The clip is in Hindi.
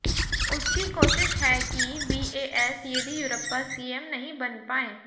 उसकी कोशिश है कि बीएस येदियुरप्पा सीएम नहीं बन पाएं